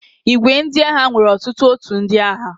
ìgwè ndị agha nwere otutu ótù ndị agha.